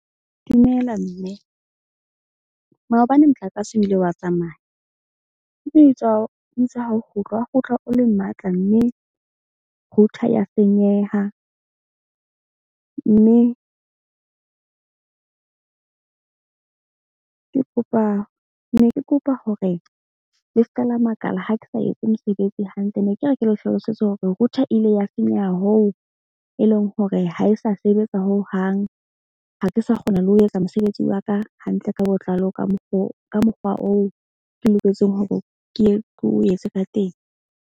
Dumela mme maobane motlakase, o ile wa tsamaya mme ho ha o kgutla, wa kgutla o le matla mme router ya senyeha. Mme ke kopa ne ke kopa hore le seka la makala. Ha ke sa etse mosebetsi hantle ne ke re, ke le hlalosetse hore router e ile ya senyeha. Hoo e leng hore ha e sa sebetsa ho hang ha ke sa kgona le ho etsa mosebetsi wa ka hantle ka botlalo, ka mokgo ka mokgwa oo ke loketseng hore ke ke o etse ka teng.